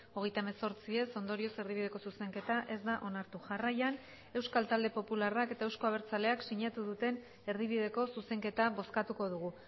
hogeita hemezortzi ez ondorioz erdibideko zuzenketa ez da onartu jarraian euskal talde popularrak eta euzko abertzaleak sinatu duten erdibideko zuzenketa bozkatuko dugu